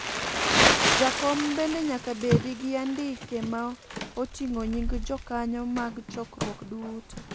Jakom bende nyaka bedi gi andike ma oting'o nying jokanyo mag chokruok duto.